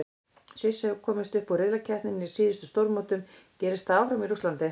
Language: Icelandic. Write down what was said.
Sviss hefur komist upp úr riðlakeppninni á síðustu stórmótum, gerist það áfram í Rússlandi?